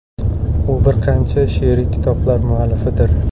U bir qancha she’riy kitoblar muallifidir.